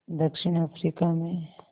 दक्षिण अफ्रीका में